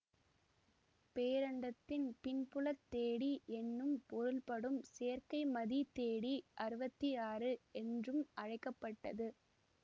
பேரண்டத்தின் பின்புலத் தேடி என்னும் பொருள்படும் செயற்கைமதி தேடி அறுபத்தி ஆறு என்றும் அழைக்க பட்டது